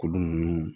Kuru ninnu